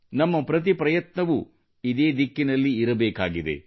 ನಮ್ಮ ಪ್ರತಿ ಪ್ರಯತ್ನವೂ ಇದೇ ದಿಕ್ಕಿನಲ್ಲಿ ಇರಬೇಕಾಗಿದೆ